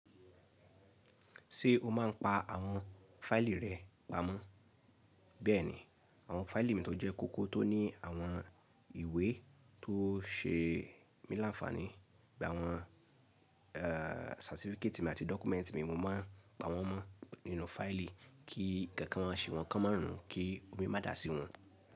Ṣé o máa n pa àwọn fáìlì rẹ pamọ́? Bẹ́ẹ̀ni, àwọn fáìlì mi tó jẹ́ kókó tó ní àwọn ìwé tó ṣe mí láǹfàní, bí i àwọn ẹẹ certificate mi àti document mi, mo máa n pa wọ́n mọ́ nínú fáìlì kí ǹkan kan ṣe wọ́n kan márùn ún kí omi má dà sí wọn.